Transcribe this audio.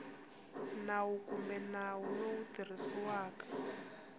nawu kumbe nawu lowu tirhisiwaka